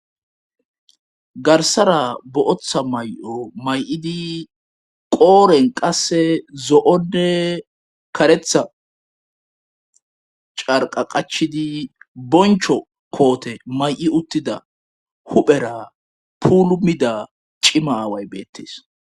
Garssara bootha mayo may7idi qooren qasse zo7onne karetha carqqa qachchidi bonchcho koote may7i uttida huphera puulummida cima aaway beettes.